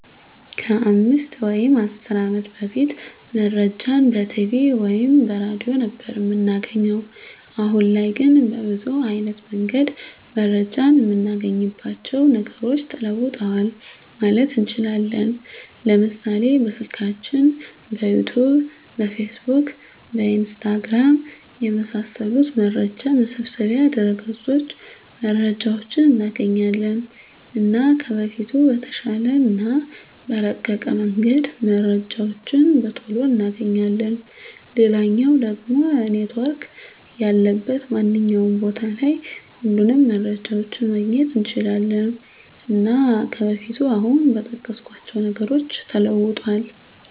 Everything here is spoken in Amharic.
ከ 5 ወይም 10 አመት በፊት መረጃን በቲቪ ወይም በሬድዮ ነበር እምናገኘዉ። አሁን ላይ ግን በብዙ አይነት መንገድ መረጃን እምናገኝባቸዉ ነገሮች ተለዉጠዋል ማለት እንችላለን፤ ለምሳሌ፦ በስልካችን፣ በዩቱዩብ፣ በፌስቡክ፣ በኢንስታግራም፣ የመሳሰሉት መረጃ መሰብሰቢያ ድረገፆች መረጃዎችን እናገኛለን። እና ከበፊቱ በተሻለ እና በረቀቀ መንገድ መረጃዎችን በቶሎ እናገኛለን፣ ሌላኛዉ ደሞ ኔትዎርክ ያለበት ማንኛዉም ቦታ ላይ ሁሉንም መረጃዎችን ማግኘት እንችላለን። እና ከበፊቱ አሁን በጠቀስኳቸዉ ነገሮች ተለዉጧል።